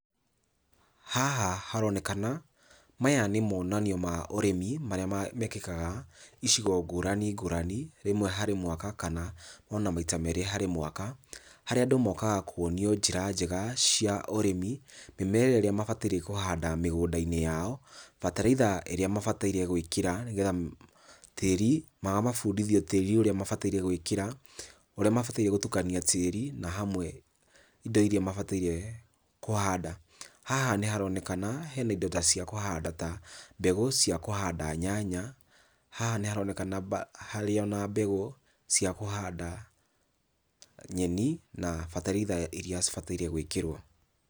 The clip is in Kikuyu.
Haha haronekana maya nĩ monanio ma ũrĩmi marĩa mekĩkaga icigo ngũrani ngũrani rimwe harĩ mwaka kana ona maita meri harĩ mwaka, harĩa andũ mokaga kũonio njĩra njega cia ũrĩmi , mĩmera ĩria mabataire kũhanda mĩgũnda-inĩ yao, bataraitha iria mabataire gwikĩra nĩamu tĩri, magabundithio tĩri ũrĩa mabatie gwikĩra, ũrĩa mabataire gũtukania tĩri na hamwe indo iria mabatairie kũhanda. Haha nĩharonekana he naindo ta cia kũhanda ta mbegũ cia kũhanda nyanya, haha nĩharonekana harĩ na mbegũ cia kũhanda nyeni na bataraitha iria cibataire gwĩkĩrwo.